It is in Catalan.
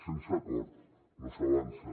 sense acord no s’avança